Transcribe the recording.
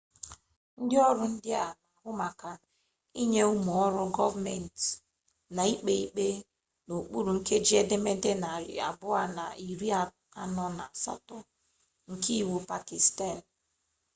ndị ọrụ ndị a na-ahụ maka ịnye ụmụ ọrụ gọọmentị na ikpe ikpe n'okpuru nkeji edemede narị abụọ na iri anọ na asaa nke iwu pakistan